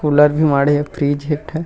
cooler भी माड़हे fridge हे एक ठन--